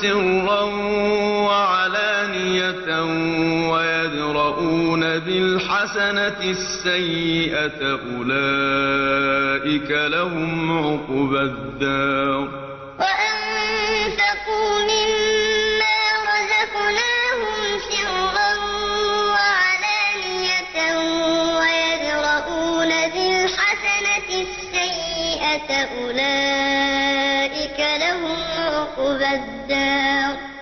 سِرًّا وَعَلَانِيَةً وَيَدْرَءُونَ بِالْحَسَنَةِ السَّيِّئَةَ أُولَٰئِكَ لَهُمْ عُقْبَى الدَّارِ وَالَّذِينَ صَبَرُوا ابْتِغَاءَ وَجْهِ رَبِّهِمْ وَأَقَامُوا الصَّلَاةَ وَأَنفَقُوا مِمَّا رَزَقْنَاهُمْ سِرًّا وَعَلَانِيَةً وَيَدْرَءُونَ بِالْحَسَنَةِ السَّيِّئَةَ أُولَٰئِكَ لَهُمْ عُقْبَى الدَّارِ